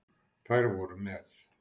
Þær voru með